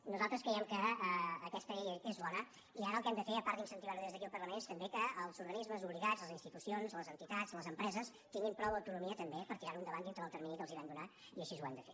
nosaltres creiem que aquesta llei és bona i ara el que hem de fer a part d’incentivar ho des d’aquí el parlament és també que els organismes obligats les institucions les entitats les empreses tinguin prou autonomia també per tirar ho endavant dintre del termini que els vam donar i així ho hem de fer